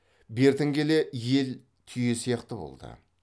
бертін келе ел түйе сияқты болды